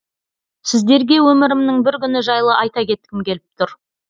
сіздерге өмірімнің бір күні жайлы айта кеткім келіп тұр